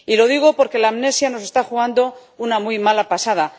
Y lo digo porque la amnesia nos está jugando una muy mala pasada.